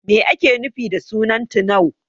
Me ake nufi da sunan Tunau?